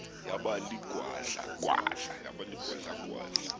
yaba ligwadla gwadla